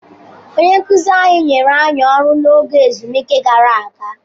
Onye nkụzi anyị nyere anyị ọrụ n'oge ezumike gara aga.